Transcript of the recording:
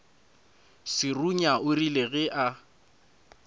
serunya o rile ge a